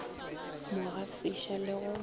mo gafiša le go mo